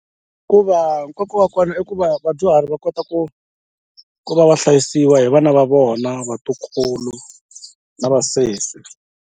Hikuva nkoka wa kona i ku va vadyuhari va kota ku ku va va hlayisiwa hi vana va vona vatukulu na vasesi.